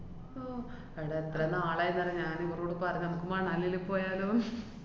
ഓ, എടാ എത്ര നാളായീന്നറിയാ ഞാനിവരോട് പറഞ്ഞ്, മ്മക്ക് മണാലീല് പോയാലോന്ന്?